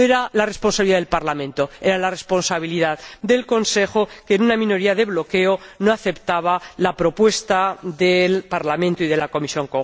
No era la responsabilidad del Parlamento, era la responsabilidad del Consejo, que, con una minoría de bloqueo, no aceptaba la propuesta conjunta del Parlamento y de la Comisión.